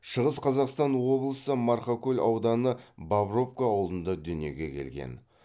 шығыс қазақстан облысы марқакөл ауданы бобровка ауылында дүниеге келген